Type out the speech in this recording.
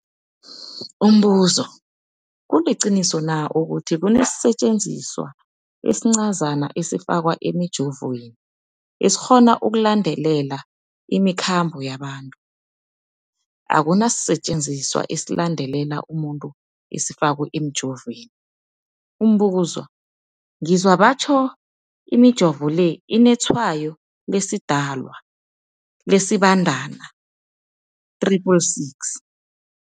Umbuzo, kuliqiniso na ukuthi kunesisetjenziswa esincazana esifakwa emijovweni, esikghona ukulandelela imikhambo yabantu? Akuna sisetjenziswa esilandelela umuntu esifakwe emijoveni. Umbuzo, ngizwa batjho imijovo le inetshayo lesiDalwa, lesiBandana 666.